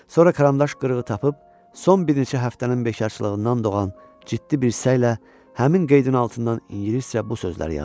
Sonra karandaş qırığı tapıb, son bir neçə həftənin beşarcılığından doğan ciddi bir səylə həmin qeydin altından ingiliscə bu sözləri yazdı.